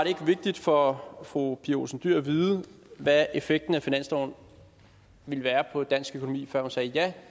ikke vigtigt for fru pia olsen dyhr at vide hvad effekten af finansloven ville være på dansk økonomi før hun sagde ja